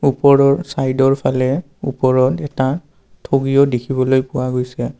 ওপৰৰ চাইদৰ ফালে ওপৰত এটা ঠগিও দেখিবলৈ পোৱা গৈছে।